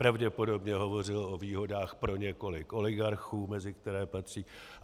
Pravděpodobně hovořil o výhodách pro několik oligarchů, mezi které patří.